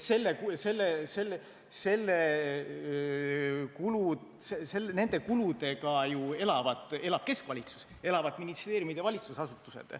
Nii et nende kuludega elab keskvalitsus, elavad ministeeriumid ja valitsusasutused.